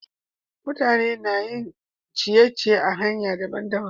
Mutane na yin abin ciye-ciye a'hanyoyi dabban-dabban.